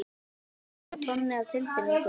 Ég á von á tonni af tilfinningum.